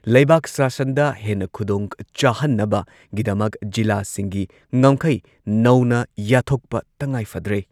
ꯂꯩꯕꯥꯛ ꯁꯥꯁꯟꯗ ꯍꯦꯟꯅ ꯈꯨꯗꯣꯡꯆꯥꯍꯟꯅꯕꯒꯤꯗꯃꯛ ꯖꯤꯂꯥꯁꯤꯡꯒꯤ ꯉꯝꯈꯩ ꯅꯧꯅ ꯌꯥꯠꯊꯣꯛꯄ ꯇꯉꯥꯏꯐꯗ꯭ꯔꯦ ꯫